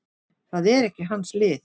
Það er ekki hans lið.